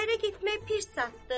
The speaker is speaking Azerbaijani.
Ərə getmək pis zadı?